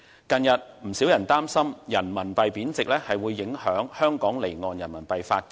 近日，不少人擔心人民幣貶值會影響香港離岸人民幣的發展。